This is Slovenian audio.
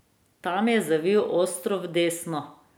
Tam je zavil ostro v desno.